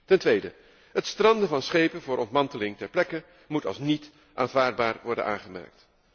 Ten tweede, het stranden van schepen voor ontmanteling ter plekke moet als niet aanvaardbaar worden aangemerkt.